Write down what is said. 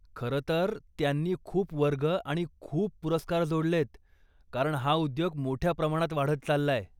खरं तर त्यांनी खूप वर्ग आणि खूप पुरस्कार जोडलेयत, कारण हा उद्योग मोठ्या प्रमाणात वाढत चाललाय.